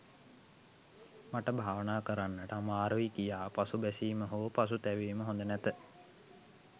මට භාවනා කරන්නට අමාරුයි කියා පසුබැසීම හෝ පසුතැවීම හොඳ නැත.